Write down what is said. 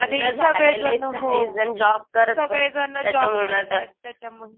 आणि सगळेजण हो सगळेजण जॉब करतायेत त्याच्यामुळे.